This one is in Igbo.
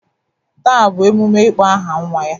Taa bụ emume ịkpọ aha nwa ya